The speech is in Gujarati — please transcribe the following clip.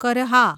કરહા